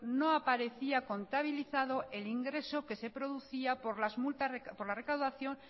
no aparecía contabilizado el ingreso que se producía por la recaudación